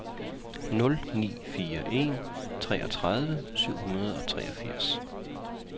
nul ni fire en treogtredive syv hundrede og treogfirs